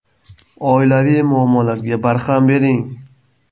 Oilaviy muammolarga barham bering!.